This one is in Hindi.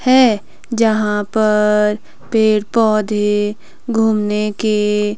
है जहां पर पेड़ पौधे घूमने के--